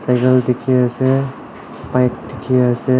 etu dikhi ase bike dikhi ase.